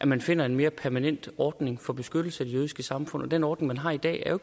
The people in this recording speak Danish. man finder en mere permanent ordning for beskyttelse af det jødiske samfund den ordning man har i dag er jo